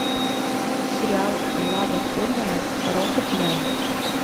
сериал влада фурмана рокетмен